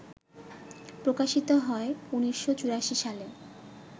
প্রকাশিত হয় ১৯৮৪ সালে